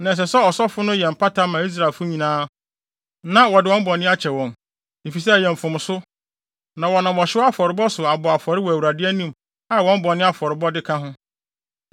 Na ɛsɛ sɛ ɔsɔfo no yɛ mpata ma Israelfo nyinaa na wɔde wɔn bɔne akyɛ wɔn; efisɛ, ɛyɛ mfomso, na wɔnam ɔhyew afɔrebɔ so abɔ afɔre wɔ Awurade anim a wɔn bɔne afɔrebɔde ka ho.